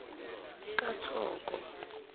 kathoko